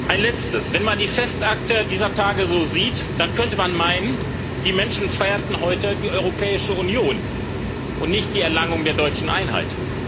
Ein Letztes Wenn man die Festakte dieser Tage so sieht, dann könnte man meinen, die Menschen feierten heute die Europäische Union und nicht die Erlangung der deutschen Einheit.